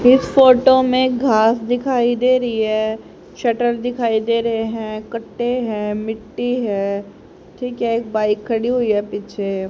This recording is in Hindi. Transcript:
इस फोटो में घास दिखाई देरी है शटर दिखाई दे रहे हैं कट्टे है मिट्टी है ठीक है एक बाइक खड़ी हुई है पीछे।